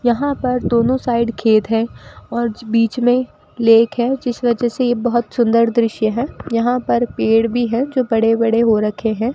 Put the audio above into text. यहां पर दोनों साइड खेत है और बीच में लेक है जिस वजह से यह बहुत सुंदर दृश्य है यहां पर पेड़ भी है जो बड़े बड़े हो रखे हैं।